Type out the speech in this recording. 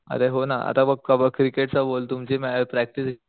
अरे हो ना आता बघ कब क्रिकेट च बोल तुमची मॅच प्रॅक्टिस